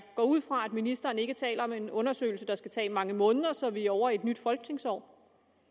går ud fra at ministeren ikke taler om en undersøgelse der skal tage mange måneder så vi er ovre i et nyt folketingsår